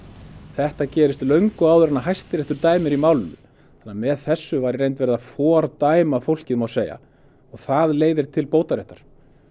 þetta gerist löngu áður en Hæstiréttur dæmir í málinu þannig að með þessu var verið að fordæma fólkið má segja og það leiðir til bótaréttar